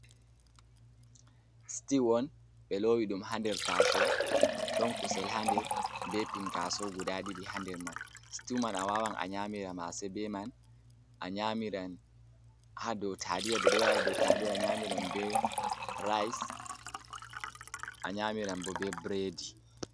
Stiw on, ɓe lowi ɗum ha nder taaso. Ɗon kusel ha nder, be pinkaaso guda ɗidi ha nder man. Stiw man a wawan a nyamira mase be man, a nyaamiran ha dou taaliya ɓe ɗo dou taaliya, a nyamiran be rais, a nyamiran bo be bredi.